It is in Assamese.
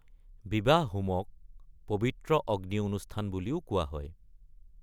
বিৱাহ-হোমক ‘পবিত্ৰ অগ্নি অনুষ্ঠান’ বুলিও কোৱা হয়।